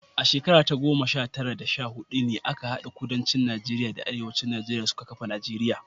A shekara ta goma sha tara da sha hudu ne aka hade Kudancin Najeriya da Arewacin Najeriya suka kafa Najeriya.